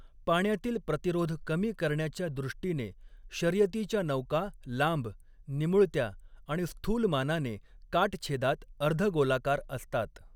पाण्यातील प्रतिरोध कमी करण्याच्या दृष्टीने, शर्यतीच्या नौका लांब, निमुळत्या आणि स्थूलमानाने काटछेदात अर्ध गोलाकार असतात.